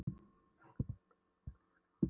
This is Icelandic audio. En er ekki einmitt veðrið þjóðlegast af öllu?